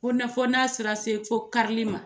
Fo na fo na taara se fo karili ma.